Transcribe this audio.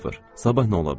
Sabah nə ola bilərəm?